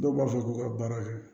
Dɔw b'a fɔ k'u ka baara kɛ